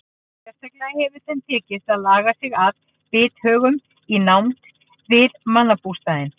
Sérstaklega hefur þeim tekist að laga sig að bithögum í nánd við mannabústaði.